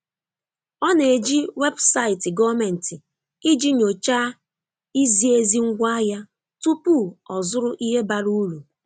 Ọ na-eji webụsaịtị gọọmentị iji nyochaa izi ezi ngwaahịa tupu ọzụrụ ihe bara uru.